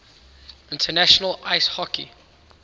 international ice hockey